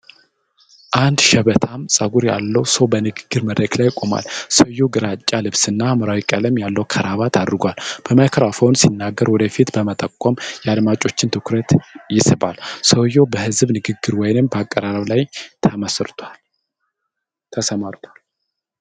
አንድ ሽበታም ፀጉር ያለው ሰው በንግግር መድረክ ላይ ቆሟል። ሰውየው ግራጫ ልብስና ሐምራዊ ቀለም ያለው ክራባት አድርጓል። በማይክሮፎን ሲናገር ወደ ፊት በመጠቆም የአድማጮችን ትኩረት ይስባል። ሰውየው በሕዝብ ንግግር ወይም በአቀራረብ ላይ ተሰማርቷል።